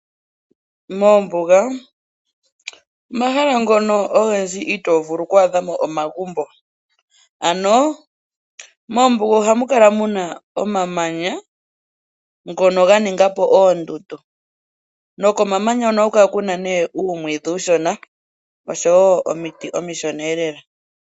Moombuga omahala ngono ogendji ito vulu oku adhamo omagumbo, ano moombuga oha mu kala muna omamanya ngono ganinga po oondundu, nokomamanya hono oha ku kala nee uumwidhi uushona, osho woo omiti omishona ee lela,